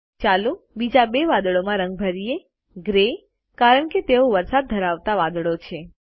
ચાલો બીજા બે વાદળોમાં રંગ ભરીયે ગ્રે કારણ કે તેઓ વરસાદ ધરાવતા વાદળો છે